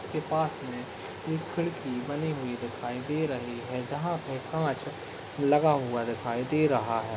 के पास में एक खिड़की बनी हुई दिखाई दे रही है जहाँ पे कांच लगा हुआ दिखाई दे रहा है।